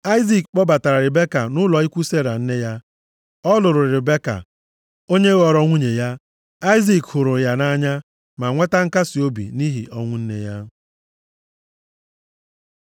Aịzik kpọbatara Ribeka nʼụlọ ikwu Sera, + 24:67 Cheta nʼoge a, Sera a nwụọlarị afọ atọ gara aga. \+xt Jen 17:17; 23:1; 25:20\+xt* nne ya. Ọ lụrụ Ribeka, onye ghọrọ nwunye ya. Aịzik hụrụ ya nʼanya, ma nweta nkasiobi nʼihi ọnwụ nne ya.